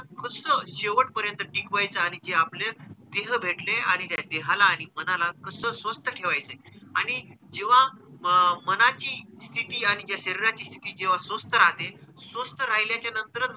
स्वस्थ शेवट पर्यंत टिकवायचं आणि जे आपलं देह भेटले आणि या देहाला आणि मनाला कसं स्वस्थ ठेवायचंय आणि जेव्हा म मनाची स्थिती आणि जेव्हा शरीराची स्थिती जेव्हा स्वस्थ राहते, स्वस्थ राहिल्याच्या नंतरच,